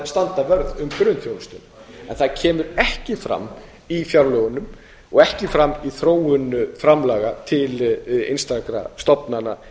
vörð um grunnþjónustuna en það kemur ekki fram í fjárlögunum og ekki fram í þróun framlaga til einstakra stofnana